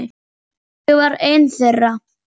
Ég var ein þeirra.